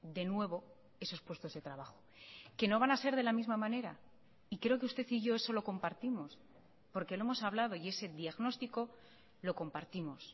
de nuevo esos puestos de trabajo que no van a ser de la misma manera y creo que usted y yo eso lo compartimos porque lo hemos hablado y ese diagnostico lo compartimos